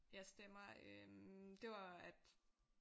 Jeg stemmer øh det var at